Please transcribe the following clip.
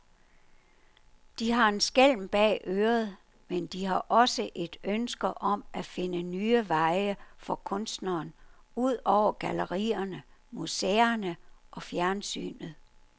De har en skælm bag øret, men de har også et ønske om at finde nye veje for kunstneren, ud over gallerierne, museerne og fjernsynet.